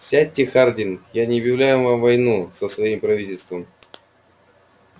сядьте хардин я не объявляю вам войну со своим правительством